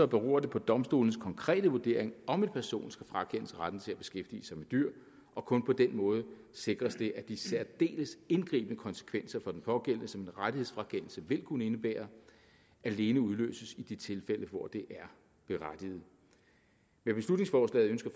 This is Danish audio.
beror det på domstolenes konkrete vurdering om en person skal frakendes retten til at beskæftige sig med dyr og kun på den måde sikres det at de særdeles indgribende konsekvenser for den pågældende som en rettighedsfrakendelse vil kunne indebære alene udløses i de tilfælde hvor det er berettiget med beslutningsforslaget ønsker